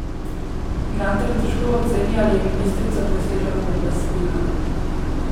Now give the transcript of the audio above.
Gantar težko oceni, ali je ministrica presegla pooblastila.